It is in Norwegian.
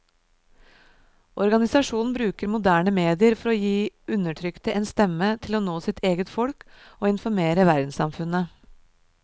Organisasjonen bruker moderne medier for å gi undertrykte en stemme til å nå sitt eget folk og informere verdenssamfunnet.